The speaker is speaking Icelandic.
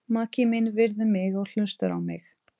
Maki minn virðir mig og hlustar á mig.